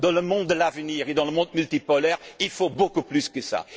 Dans le monde de l'avenir et dans le monde multipolaire, il faut beaucoup plus que cela.